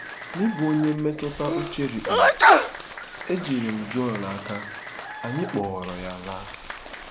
N'ịbụ onye mmetụta uche rikpuru, ejiri m Joel n'aka, anyị kpọọrọ ya laa.